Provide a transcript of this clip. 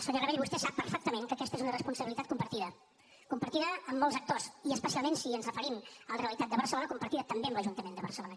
senyor rabell vostè sap perfectament que aquesta és una responsabilitat compartida compartida amb molts actors i especialment si ens referim a la realitat de barcelona compartida també amb l’ajuntament de barcelona